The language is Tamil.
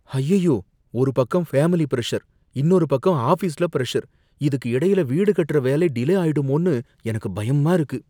அய்யய்யோ! ஒரு பக்கம் ஃபேமிலி பிரஷர், இன்னொரு பக்கம் ஆஃபீஸ்ல பிரஷர், இதுக்கு இடையில வீடு கட்டுற வேலை டிலே ஆயிடுமோன்னு எனக்கு பயமா இருக்கு!